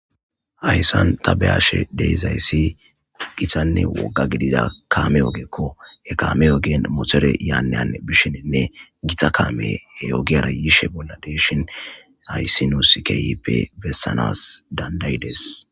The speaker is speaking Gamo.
ayssan ta behashe deezayssi githanne wogga gidida kaame ogekko he kaame yoogen motore yaanneyan bishinenne githa kaame he ogiyara yishe bolla deeshin hayssi nuuskeyeppe bessanas dandayides